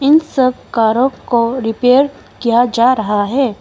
इन सब कारो को रिपेयर किया जा रहा है।